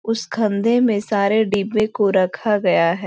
उस खंधे में सारे डिब्बों को रखा गया है।